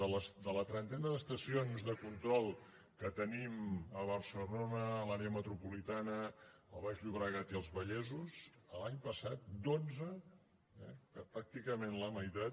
de la trentena d’estacions de control que tenim a barcelona a l’àrea metropolitana al baix llobregat i als vallesos l’any passat dotze pràcticament la meitat